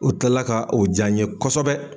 O kila la ka o ja n ɲe kosɛbɛ